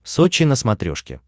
сочи на смотрешке